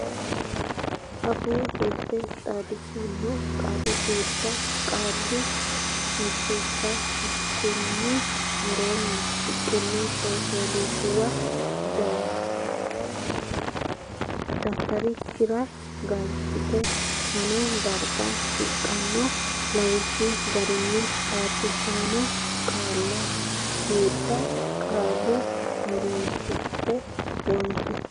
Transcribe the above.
Afuu Jirte Xaadisaano Qaali suuddanna Qaalla Biddissa Konni woroonni shiqqino coy fooliishshuwa dafitarikkira galchidhe fano darga shiqqino lawishshuwa garinni xaadisaano qaali suuddanna qaalla horonsidhanni wonshi.